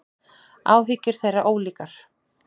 Áhyggjur þeirra ólíkar.